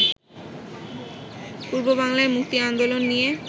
পূর্ববাংলার মুক্তি আন্দোলন নিয়ে